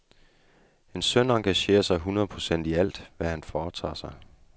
Min søn engagerer sig et hundrede procent i alt, hvad han foretager sig.